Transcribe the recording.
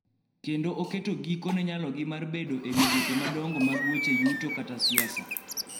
Kendo oketo giko ne nyalogi mar bedo e migepe madongo mag weche yuto kata siasa.